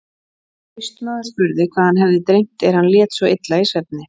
Austmaður spurði hvað hann hefði dreymt er hann lét svo illa í svefni.